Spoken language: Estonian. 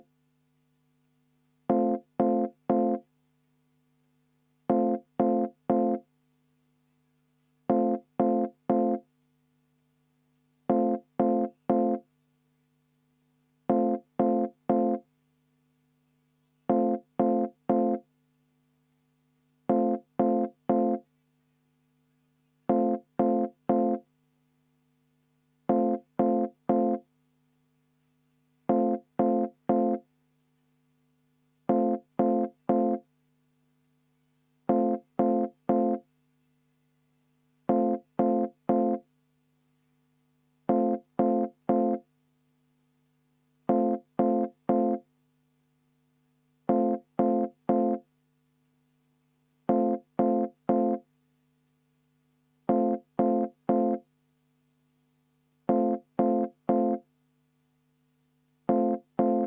Helle-Moonika Helme, palun!